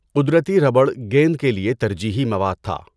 قدرتی ربڑ گیند کے لیے ترجیحی مواد تھا۔